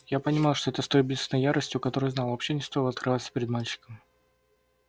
я понимал это с той же убийственной ясностью с которой знал вообще не стоило открываться перед мальчиком